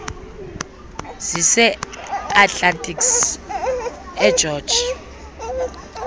zise atlantis egeorge